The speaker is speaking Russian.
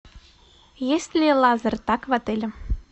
есть ли лазертаг в отеле